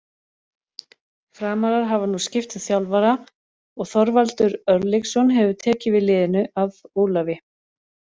Framarar hafa nú skipt um þjálfara og Þorvaldur Örlygsson hefur tekið við liðinu af Ólafi.